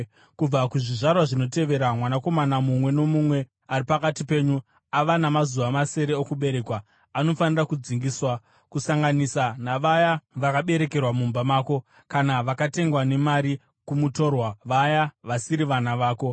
Kubva kuzvizvarwa zvinotevera, mwanakomana mumwe nomumwe ari pakati penyu ava namazuva masere okuberekwa anofanira kudzingiswa, kusanganisa navaya vakaberekerwa mumba mako kana vakatengwa nemari kumutorwa, vaya vasiri vana vako.